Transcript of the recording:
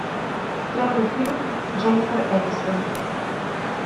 первый фильм дженнифер энистон